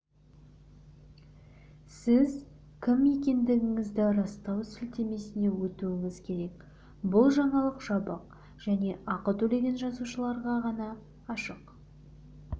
сіз кім екендігіңізді растау сілтемесіне өтуіңіз керек бұл жаңалық жабық және ақы төлеген жазылушыларға ғана ашық